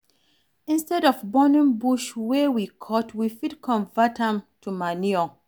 Instead of burning bush wey we cut, we fit convert am to manure